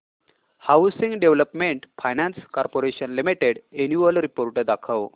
housing development finance corporation limited annual report दाखव